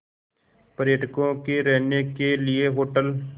पर्यटकों के रहने के लिए होटल